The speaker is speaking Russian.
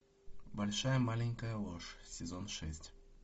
большая маленькая ложь сезон шесть